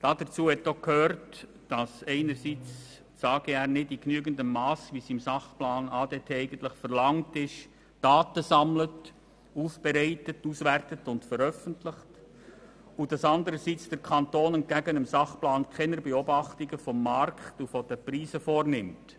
Dazu gehörte auch, dass einerseits das AGR nicht in genügendem Masse Daten sammelt, aufbereitet, auswertet und veröffentlicht, wie dies im Sachplan ADT eigentlich verlangt wird, und dass anderseits der Kanton entgegen dem Sachplan keine Beobachtungen des Markts und der Preise vornimmt.